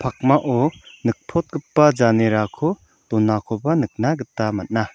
pakmao nikprotgipa janerako donakoba nikna gita man·a.